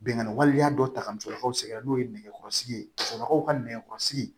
Bɛnkan waleya dɔ ta ka musolakaw sɛgɛrɛ n'o ye nɛgɛkɔrɔsigi ye musokɔrɔbaw ka nɛgɛkɔrɔsigi